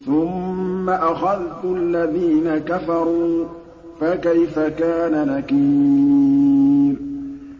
ثُمَّ أَخَذْتُ الَّذِينَ كَفَرُوا ۖ فَكَيْفَ كَانَ نَكِيرِ